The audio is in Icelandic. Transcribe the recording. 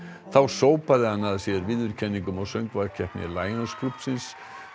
þá sópaði hann að sér viðurkenningum á söngvakeppni Lionsklúbbsins